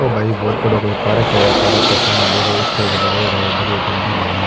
ओ भाई बहुत बड़ा कोई पार्क है पार्क के सामने देखो स्टेज लगाईड़ा है बढ़िया बिलडिंग है।